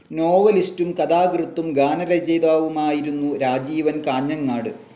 നോവലിസ്റ്റും, കഥാകൃത്തും, ഗാനരചയിതാവുമായിരുന്നു രാജീവൻ കാഞ്ഞങ്ങാട്.